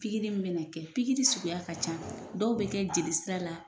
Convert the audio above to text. Pikiri bɛ nin kɛ pikiri suguya ka ca dɔw bɛ kɛ jolisira la